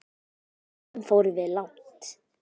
Stundum fórum við langt.